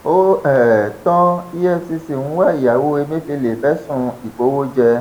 ó um tan efcc ń wá ìyàwó emefèlé fẹsùn ìkówóje